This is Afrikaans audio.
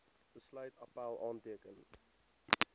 besluit appèl aanteken